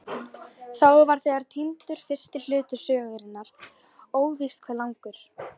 Þá var þegar týndur fyrsti hluti sögunnar, óvíst hve langur.